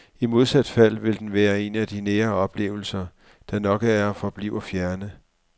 I modsat fald vil den være en af nære oplevelser, der nok er og forbliver fjerne.